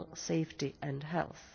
Safety and Health